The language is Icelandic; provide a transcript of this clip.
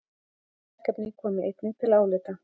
Önnur verkefni komi einnig til álita